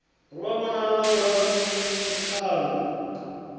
lu a vhonala ngauralo mikando